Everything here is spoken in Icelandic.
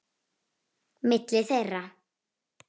Milli þeirra